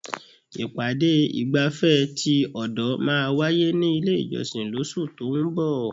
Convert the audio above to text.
Ìpàdé ìgbafẹ́ ti ọ̀dọ̀ máà wáyé ní ilé ìjọsìn lóṣù tó ún bọ̀.